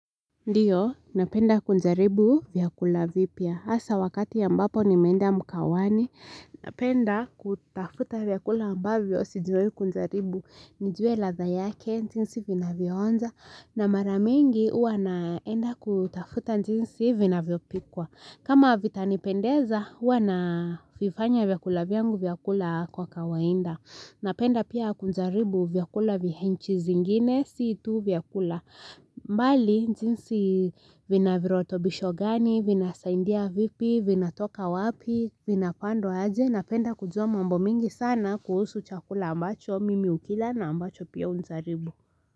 Ndio, napenda kujaribu vyakula vipya. Hasa wakati ambapo nimeenda mkahawani. Napenda kutafuta vyakula ambavyo sijawahi kujaribu. Nijue ladhaa yake, jinsi vinavyonja. Na mara mingi huwa naenda kutafuta jinsi vinavyopikwa. Kama vitanipendeza, huwa na vifanya vyakula vyangu vya kula kwa kawainda. Napenda pia kujaribu vyakula vya nchi zingine, si tu vyakula. Mbali, jinsi vina virutubisho gani, vinasaidia vipi, vinatoka wapi, vinapandwa aje Napenda kujua mambo mingi sana kuhusu chakula ambacho, mimi ukila na ambacho pia hujaribu.